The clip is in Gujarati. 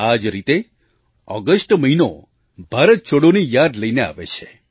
આ જ રીતે ઑગસ્ટ મહિનો ભારત છોડોની યાદ લઈને આવે છે